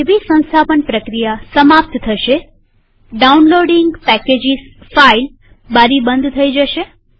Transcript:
જેવી સંસ્થાપન પ્રક્રિયા સમાપ્ત થશેડાઉનલોડીંગ પેકેજીસ ફાઈલ બારી બંધ થઇ જશે